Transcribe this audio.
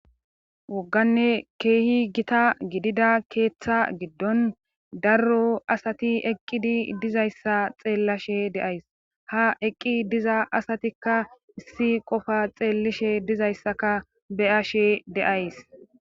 wogganne keehi gita gidida keeththa giddon darro asati eqqidi dizayssa xeellashe deays ha eqqi diza asatikka issi qofa xeellishe dizayssaka beyashe deays